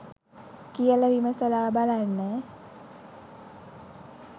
කියල විමසලා බලන්න